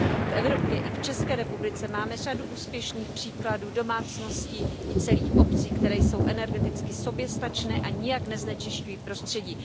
V Evropě i v České republice máme řadu úspěšných příkladů domácností i celých obcí, které jsou energeticky soběstačné a nijak neznečisťují prostředí.